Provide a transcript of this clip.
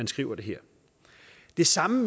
skriver det her det samme